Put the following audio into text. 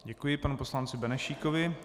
Děkuji panu poslanci Benešíkovi.